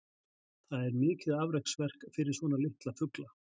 það er mikið afreksverk fyrir svona litla fugla